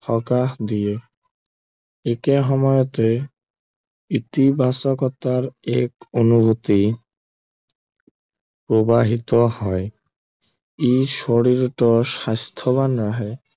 সকাহ দিয়ে একে সময়তে ইতিবাচকতাৰ এক অনুভূতি প্ৰৱাহিত হয় ই শৰীৰটো স্বাস্থ্য়বান ৰাখে